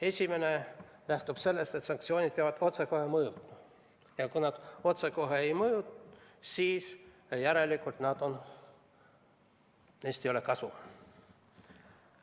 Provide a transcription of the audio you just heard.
Esimene lähtub sellest, et sanktsioonid peavad mõjuma otsekohe ja kui nad otsekohe ei mõju, siis järelikult neist ei ole kasu.